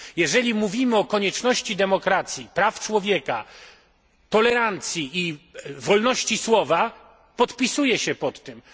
Jeżeli mówimy o konieczności demokracji, praw człowieka, tolerancji i wolności słowa, podpisuję się pod tym.